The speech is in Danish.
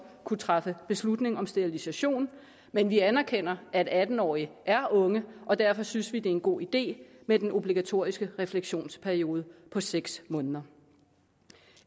kunne træffe beslutning om sterilisation men vi anerkender at atten årige er unge og derfor synes vi det er en god idé med den obligatoriske refleksionsperiode på seks måneder